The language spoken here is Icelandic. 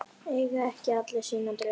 Eiga ekki allir sína drauma?